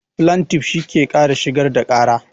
Flantif shi ke shigar da ƙara